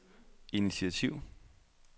initiativ